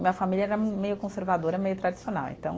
Minha família era meio conservadora, meio tradicional, então.